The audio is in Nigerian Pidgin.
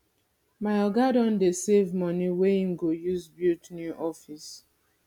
my oga don dey save money wey im go use build new office